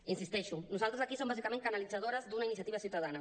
hi insisteixo nosaltres aquí som bàsicament canalitzadores d’una iniciativa ciutadana